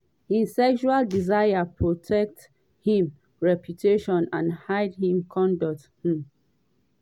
im sexual desires protect im reputation and hide im conduct". um